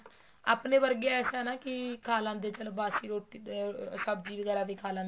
ਆਪਣੇ ਵਰਗੇ ਐਸਾ ਨਾ ਕੀ ਖਾ ਲੈਂਦੇ ਬਾਸੀ ਰੋਟੀ ਅਮ ਸਬ੍ਜ਼ੀ ਵਗੈਰਾ ਵੀ ਖਾ ਲਿੰਦੇ ਆ